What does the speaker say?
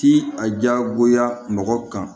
Ti a jagoya mɔgɔ kan